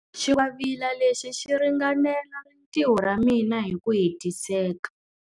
Xingwavila lexi xi ringanela rintiho ra mina hi ku hetiseka.